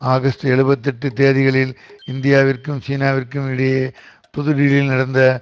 August எழுபத்து எட்டு தேதிகளில் இந்தியாவிற்கும் சீனாவிற்கும் இடையே புது தில்லியில் நடந்த